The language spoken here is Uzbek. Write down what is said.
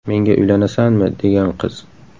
Menga uylanasanmi?”, degan qiz.